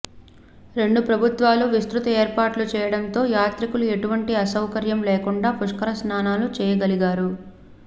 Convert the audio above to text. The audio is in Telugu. రెండు ప్రభుత్వాలు విస్తృత ఏర్పాట్లు చేయడంతో యాత్రికులు ఎటువంటి అసౌకర్యం లేకుండా పుష్కర స్నానాలు చేయగలిగారు